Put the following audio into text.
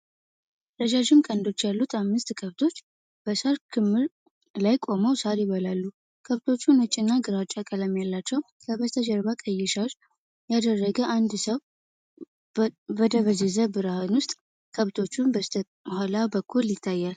ረዣዥም ቀንዶች ያሉት አምስት ከብቶች በሳር ክምር ላይ ቆመው ሳር ይበላሉ። ከብቶቹ ነጭ እና ግራጫማ ቀለም አላቸው። ከበስተጀርባ፣ ቀይ ሻሽ ያደረገ አንድ ሰው በደበዘዘ ብርሃን ውስጥ ከከብቶቹ በስተኋላ በኩል ይታያል።